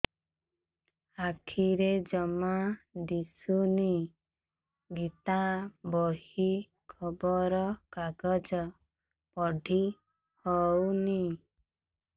ଆଖିରେ ଜମା ଦୁଶୁନି ଗୀତା ବହି ଖବର କାଗଜ ପଢି ହଉନି